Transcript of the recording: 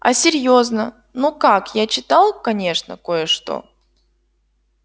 а серьёзно ну как я читал конечно кое-что